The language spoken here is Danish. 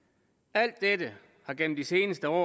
alt dette har gennem de seneste år